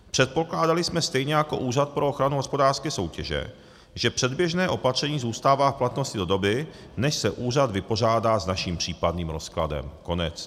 Předpokládali jsme stejně jako Úřad pro ochranu hospodářské soutěže, že předběžné opatření zůstává v platnosti do doby, než se úřad vypořádá s naším případným rozkladem."